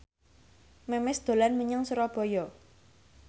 Memes dolan menyang Surabaya